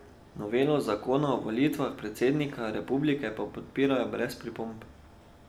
Novelo zakona o volitvah predsednika republike pa podpirajo brez pripomb.